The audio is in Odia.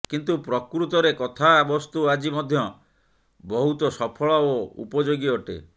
କିନ୍ତୁ ପ୍ରକୃତରେ କଥାବସ୍ତୁ ଆଜି ମଧ୍ୟ ବହୁତ ସଫଳ ଓ ଉପଯୋଗୀ ଅଟେ